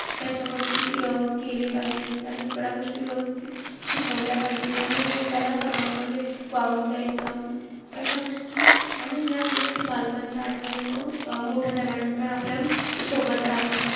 त्याच्यावरती अं केले पाहिजेत. त्याला सगळ्या गोष्टी व्यवस्थित शिकवल्या पाहिजेत. आणि त्याला सर्वांमध्ये वावरू द्यायचं. अशा गोष्टी आणि ह्याच गोष्टी बालपणच्या आठवणी मंग, मोठं झाल्यानंतर आपल्या सोबत राहतात.